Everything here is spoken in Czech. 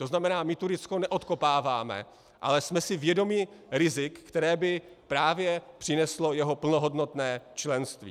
To znamená, my Turecko neodkopáváme, ale jsme si vědomi rizik, které by právě přineslo jeho plnohodnotné členství.